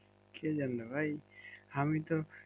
কে জানে ভাই আমি তো